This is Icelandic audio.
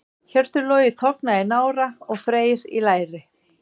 Hjörtur Logi tognaði í nára og Freyr í læri.